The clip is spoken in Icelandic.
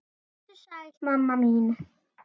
Vertu sæl, mamma mín.